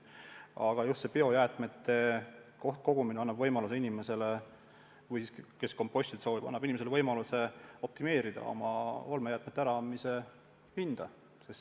Aga just biojäätmete kohtkogumine annab inimesele, kes kompostida soovib, võimaluse optimeerida olmejäätmete äraandmise tasu.